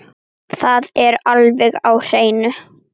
Það er alveg á hreinu.